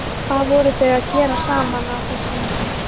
Hvað voru þau að gera saman á þessum tíma?